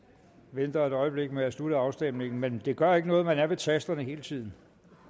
venter et øjeblik med at slutte afstemningen men det gør ikke noget at man er ved tasterne hele tiden